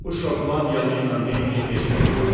Bu Şotlandiyalı ilə neyniyim heç bilmirəm.